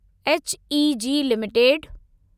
HEG limited